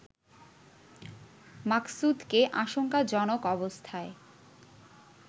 মাকসুদকে আশঙ্কাজনক অবস্থায়